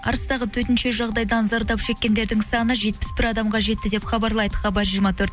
арыстағы төтенше жағдайдан зардап шеккендердің саны жетпіс бір адамға жетті деп хабарлайды хабар жиырма төрт